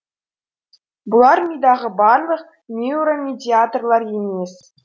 бұлар мидағы барлық нейромедиаторлар емес